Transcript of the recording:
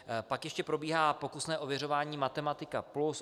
Pak ještě probíhá pokusné ověřování matematika plus.